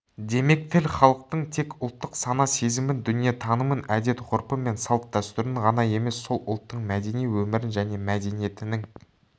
демек тіл халықтың тек ұлттық сана-сезімін дүниетанымын әдет-ғұрпы мен салт-дәстүрін ғана емес сол ұлттың мәдени өмірін және мәдениетінің